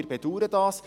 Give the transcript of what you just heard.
Wir bedauern dies.